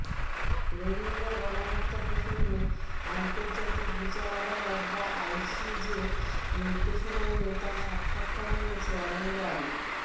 রোহিঙ্গা গণহত্যা প্রসঙ্গে আন্তর্জাতিক বিচার আদালত বা আইসিজের নির্দেশনা নিয়ে তার সাক্ষাৎকার নিয়েছেন অনিন্দ্য আরিফ